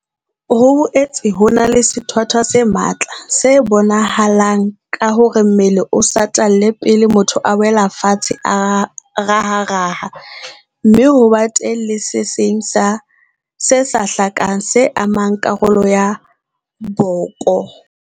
Ho boetse ho na le sethwathwa se matla se bonahalang ka hore mmele o satalle pele motho a wela fatshe a raharaha, mme ho be teng le se seng se sa hlakang, se amang karolo ya boko.